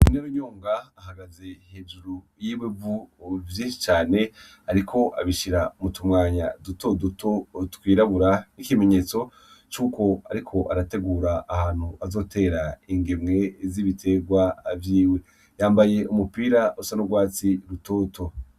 INARUNYONGA ahagaze hejuru yiwenko vyinshi cane ariko abishira mutumwanya duto duto twirabura ikimenyetso cuko ariko arategura ahantu azotera igemwe vyibiterwa vyiwe yambaye umupira rusa n'urwatsi rutoto.